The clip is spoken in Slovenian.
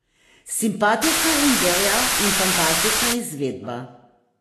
Simpatična ideja in fantastična izvedba.